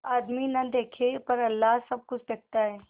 आदमी न देखे पर अल्लाह सब कुछ देखता है